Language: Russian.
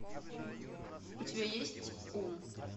у тебя есть ум